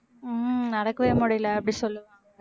உம் நடக்கவே முடியலை அப்படி சொல்லுவாங்க